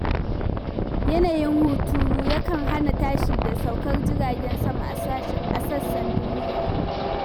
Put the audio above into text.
Yanayin hunturu yakan hana tashi da saukar jiragen sama a sassan duniya.